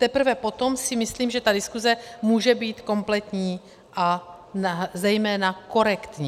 Teprve potom si myslím, že ta diskuze může být kompletní a zejména korektní.